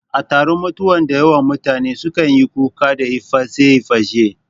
A taron mutuwa dayawan mutane su kanyi kuka da iface iface